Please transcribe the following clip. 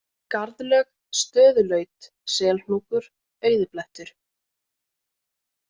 Garðlög, Stöðullaut, Selhnúkur, Auðiblettur